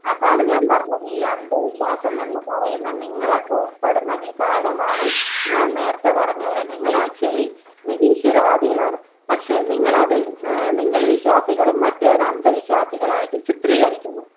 അതാണ് ഞാൻ പറഞ്ഞത്. ഈ അന്ധവിശ്വാസമെന്ന് പറയുന്ന നിങ്ങളൊക്കെ ഉൾപ്പെടുന്ന വിഭാഗമാണ്, ഞാൻ നേരത്തെ പറഞ്ഞ പോലെ നിങ്ങളാക്ച്വലി നിരീശ്വരവാദികളാണ്. പക്ഷേ നിങ്ങളത് നിങ്ങൾ വിശ്വാസികളും മറ്റവർ അന്ധവിശ്വാസികളുമായിട്ട് ചിത്രീകരിക്കുന്നു